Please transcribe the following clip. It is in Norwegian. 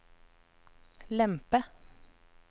lempe